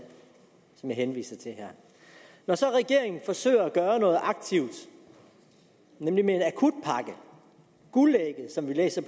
som jeg henviser til her når så regeringen forsøger at gøre noget aktivt nemlig med en akutpakke guldægget som vi læser